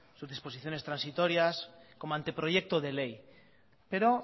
sus disposiciones transitorias como anteproyecto de ley pero